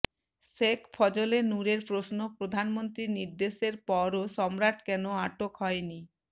শেখ ফজলে নূরের প্রশ্ন প্রধানমন্ত্রীর নির্দেশের পরও সম্রাট কেন আটক হয়নি